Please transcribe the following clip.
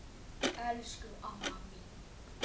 Elsku amma mín!